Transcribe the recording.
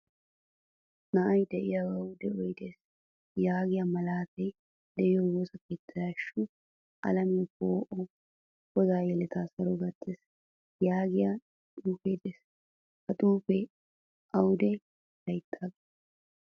Na'ay de'iyogawu de'oy de'ees yaagiyaa malatay de'iyo woosaa keettay hashshu alamiyaa po'uwaa goda yelettawu saro gattiis yaagiyaa xuufe de'ees. Ha xuufe aywude laytage?